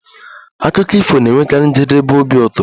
Akụkọ ifo na-enwekarị njedebe obi ụtọ